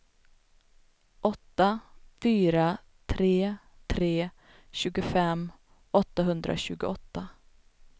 åtta fyra tre tre tjugofem åttahundratjugoåtta